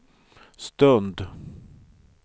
stund